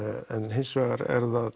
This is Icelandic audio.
hins vegar er það